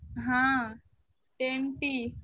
ହଁ Ten T ।